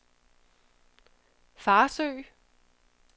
Farsø